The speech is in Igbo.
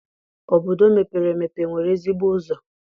Obodo mepere emepe enwere ezigbo ụzọ?